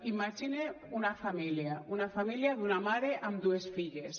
imagine una família una família d’una mare amb dues filles